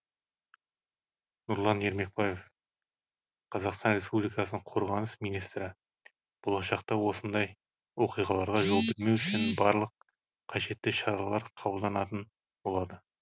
нұрлан ермекбаев қазақстан республикасының қорғаныс министрі болашақта осындай оқиғаларға жол бермеу үшін барлық қажетті шаралар қабылданатын болады